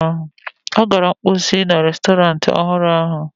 Ọ gara mposi na restọrantị ọhụrụ ahụ.